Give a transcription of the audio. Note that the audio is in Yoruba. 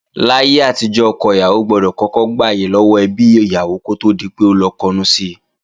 Láyé àtijọ́, ọkọ ìyàwó gbọdọ̀ kọ́kọ́ gbàyè lọ́wọ́ ẹbí ìyàwó kó tó di pé ó lọ kọnu si